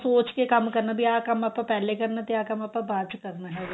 ਸੋਚ ਕੇ ਕੰਮ ਕਰਨਾ ਬੀ ਆਹ ਕੰਮ ਆਪਾਂ ਪਹਿਲੇ ਕਰਨਾ ਤੇ ਆਹ ਕੰਮ ਆਪਾਂ ਬਾਅਦ ਚ ਕਰਨਾ ਹੈਗਾ